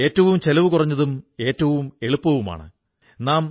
നമ്മുടെ പൂർവ്വികർ നൂറ്റാണ്ടുകളോളം അതാണു ചെയ്തുപോന്നത്